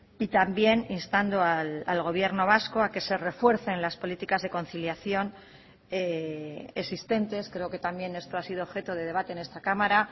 y también instando al gobierno vasco a que se refuercen las políticas de conciliación existentes creo que también esto ha sido objeto de debate en esta cámara